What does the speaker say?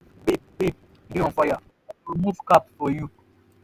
babe babe you dey on fire. i remove cap for you.